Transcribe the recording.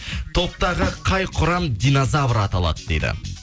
топтағы қай құрам динозавр аталады дейді